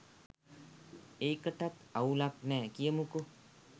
ඒකටත් අවුලක් නෑ කියමුකො